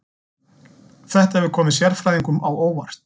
Þetta hefur komið sérfræðingum á óvart